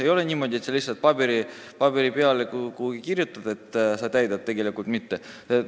Ei ole ju niimoodi, et sa kirjutad lihtsalt kuhugi paberi peale, et sa täidad nõudeid, aga tegelikult seda ei tee.